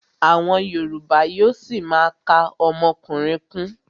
Àwọn yorùbá yóó ṣima ka ọmọkùnrin kún.